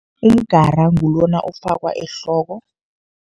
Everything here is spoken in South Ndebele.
Umgara ngulona ofakwa ehloko.